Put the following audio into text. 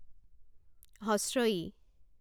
ই